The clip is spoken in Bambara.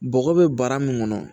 Bɔgɔ bɛ bara min kɔnɔ